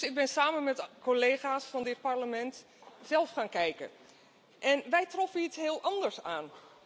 Dus ik ben samen met de collega's van dit Parlement zelf gaan kijken en wij troffen iets heel anders aan.